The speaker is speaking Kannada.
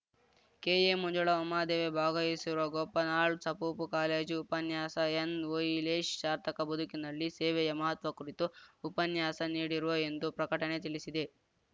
ಕೆಎಮಂಜುಳಾ ಉಮಾದೇವಿ ಭಾಗವಹಿಸುವರು ಗೋಪನಾಳ್‌ ಸಪಪೂ ಕಾಲೇಜು ಉಪನ್ಯಾಸ ಎನ್‌ಓಹಿಲೇಶ್‌ ಸಾರ್ಥಕ ಬದುಕಿನಲ್ಲಿ ಸೇವೆಯ ಮಹತ್ವ ಕುರಿತು ಉಪನ್ಯಾಸ ನೀಡಿರುವ ಎಂದು ಪ್ರಕಟಣೆ ತಿಳಿಸಿದೆ